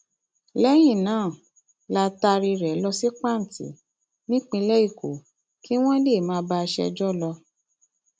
lẹyìn náà la taaré rẹ lọ sí panti nípínlẹ èkó kí wọn lè máa bá a ṣẹjọ lọ